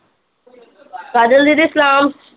ਕਾਜਲ ਦੀਦੀ ਸਲਾਮ